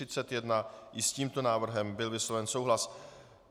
I s tímto návrhem byl vysloven souhlas.